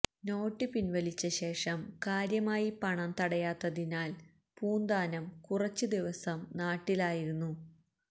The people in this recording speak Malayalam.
നോട്ട് പിന്വലിച്ചശേഷം കാര്യമായി പണം തടയാത്തതിനാല് പൂന്താനം കുറച്ച് ദിവസം നാട്ടിലായിരുന്നു